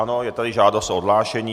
Ano, je tady žádost o odhlášení.